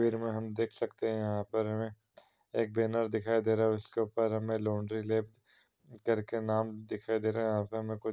तस्वीर में हम देख सकते हैं यहाॅं पर हमें एक बेनर दिख रहा है उसके ऊपर हमें लोंडरी करके नाम दिखाई दे रहा है। यहाँ पर हमें कुछ --